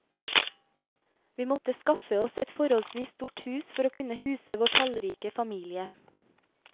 Vi måtte skaffe oss et forholdsvis stort hus for å kunne huse vår tallrike familie.